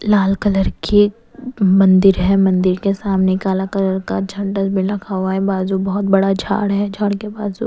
लाल colour के मंदिर है मंदिर के सामने काला कलर का झंडा भी लगा हुआ है बाजू बहुत बड़ा झाड़ है झाड़ के पास--